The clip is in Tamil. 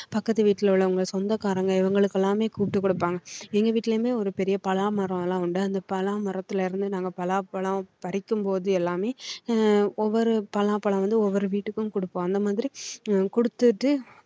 பக்கத்து வீட்ல உள்ளவங்க சொந்தக்காரங்க இவங்களுக்கு எல்லாமே கூப்பிட்டு கொடுப்பாங்க எங்க வீட்டுலயுமே இருந்து ஒரு பெரிய பலாமரம் எல்லாம் உண்டு அந்த பலா மரத்தில இருந்து நாங்க பலாப்பழம் பறிக்கும்போது எல்லாமே உம் ஒவ்வொரு பலாப்பழம் வந்து ஒவ்வொரு வீட்டுக்கும் கொடுப்போம் அந்த மாதிரி கொடுத்துட்டு